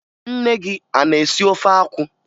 Nne gị a na-esi ofe akwụ?